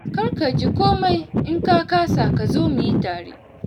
Kar ka ji komai in ka kasa ka zo mu yi tare.